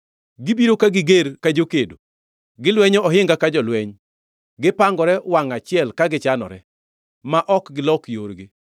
Gibiro ka giger ka jokedo; gilwenyo ohinga ka jolweny. Gipangore wangʼ achiel ka gichanore, ma ok gilok yorgi.